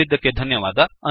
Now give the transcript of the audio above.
ಕೇಳಿದ್ದಕ್ಕೆ ಧನ್ಯವಾದ